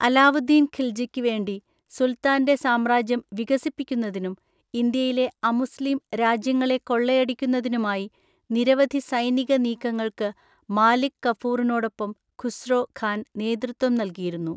അലാവുദ്ദീൻ ഖിൽജിക്ക് വേണ്ടി സുൽത്താൻ്റെ സാമ്രാജ്യം വികസിപ്പിക്കുന്നതിനും, ഇന്ത്യയിലെ അമുസ്ലിം രാജ്യങ്ങളെ കൊള്ളയടിക്കുന്നതിനുമായി നിരവധി സൈനിക നീക്കങ്ങൾക്ക് മാലിക് കഫൂറിനോടൊപ്പം ഖുസ്രോ ഖാൻ നേതൃത്വം നൽകിയിരുന്നു.